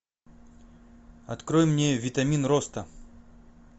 открой мне витамин роста